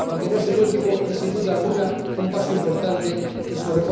Aunque no es el último, es sin duda alguna un paso importante en su